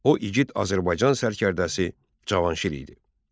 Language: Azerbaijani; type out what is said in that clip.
O igid Azərbaycan sərkərdəsi Cavanşir idi.